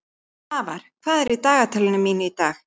Svafar, hvað er á dagatalinu mínu í dag?